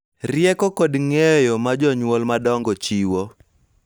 Rieko kod ng�eyo ma jonyuol madongo chiwo